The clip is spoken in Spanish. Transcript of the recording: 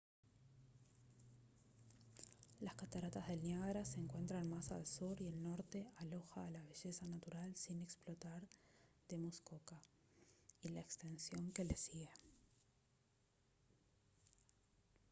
las cataratas del niágara se encuentran más al sur y el norte aloja a la belleza natural sin explotar de muskoka y la extensión que le sigue